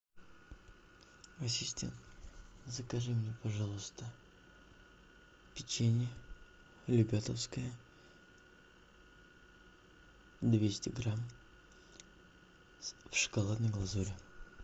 ассистент закажи мне пожалуйста печенье любятовское двести грамм в шоколадной глазури